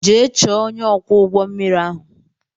Jee chọọ ọnye ọkwọ ụgbọ mmiri ahụ!!!